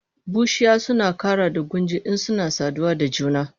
Bushiya suna kara da gunji insuna saduwa da junansu